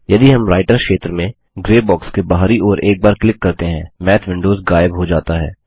यदि हम राइटर क्षेत्र में ग्रे बॉक्स के बाहरी ओर एक बार क्लिक करते हैं माथ विंडोज गायब हो जाता है